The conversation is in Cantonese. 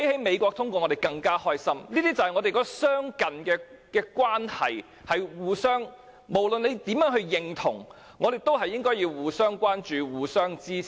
那是由於我們相近，互相有所影響，無論大家是否認同，我們也應互相關心、互相支持。